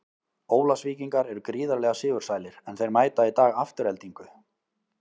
Ólafsvíkingar eru gríðarlega sigursælir, en þeir mæta í dag Aftureldingu.